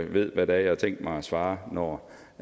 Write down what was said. ved hvad det er jeg har tænkt mig at svare når